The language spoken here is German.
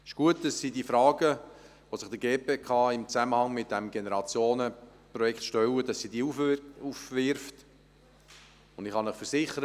Es ist gut, dass die GPK die Fragen aufwirft, die sich im Zusammenhang mit diesem Generationenprojekt stellen, und ich kann Ihnen versichern: